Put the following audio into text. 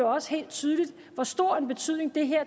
også helt tydeligt hvor stor en betydning